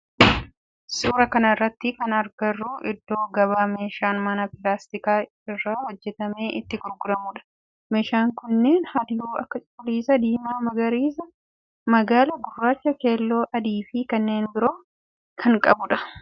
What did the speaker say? Suuraa kana irratti kan agarru iddoo gabaa meeshaan manaa pilaastika irraa hojjetame itti gurguramudha. Meeshaan kunneen halluu akka cuquliisa, diimaa, magariisa, magaala, gurraacha, keelloo adii fi kanneen biroo kan qabudha.